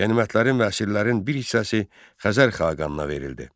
Qənimətlərin və əsirlərin bir hissəsi Xəzər xaqanına verildi.